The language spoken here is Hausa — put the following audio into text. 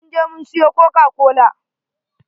mun je mun suyi kokakola.